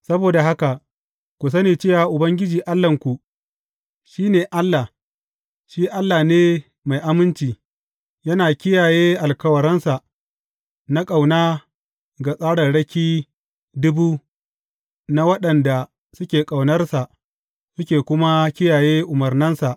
Saboda haka, ku sani cewa Ubangiji Allahnku, shi ne Allah; shi Allah ne mai aminci, yana kiyaye alkawarinsa na ƙauna ga tsararraki dubu na waɗanda suke ƙaunarsa suke kuma kiyaye umarnansa.